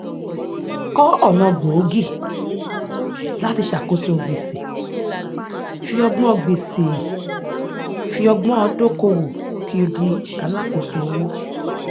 kọ ọnà gbòógì láti ṣàkóso gbèsè fi ọgbọn gbèsè fi ọgbọn dókòwò kí o di alákoso owó